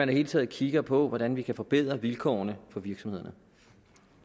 det hele taget kigger på hvordan vi kan forbedre vilkårene for virksomhederne